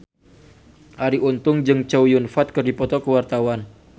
Arie Untung jeung Chow Yun Fat keur dipoto ku wartawan